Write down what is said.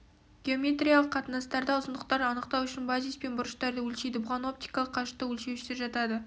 геометриялық қатынастарда ұзындықтарды анықтау үшін базис пен бұрыштарды өлшейді бұған оптикалық қашықтық өлшеуіштер жатады